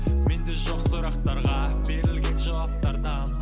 менде жоқ сұрақтарға берілген жауаптардан